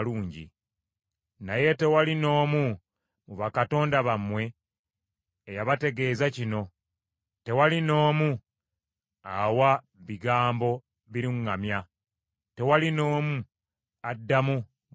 Naye tewali n’omu mu bakatonda bammwe eyabategeeza kino. Tewali n’omu awa bigambo biruŋŋamya, tewali n’omu addamu bwe mbuuza.